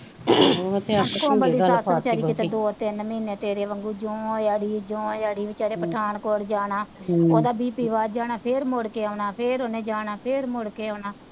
ਕੋਮਲ ਦੀ ਸੱਸ ਵੇਚਾਰੀ ਦੋ ਤੀਨ ਮੀਨੇ ਤੇਰੇ ਵਾਂਗੂ ਜੋ ਅੜੀ ਜੋ ਅੜੀ ਵੇਚਰੇ ਪਠਾਨਕੋਟ ਜਾਣਾ ਓਦਾ ਬੀਪੀ ਵੱਧ ਜਾਣਾ ਫੇਰ ਮੂਡ ਕੇ ਆਉਣਾ ਫੇਰ ਓਨੇ ਜਾਣਾ ਫੇਰ ਮੂਡ ਕੇ ਆਉਣਾ,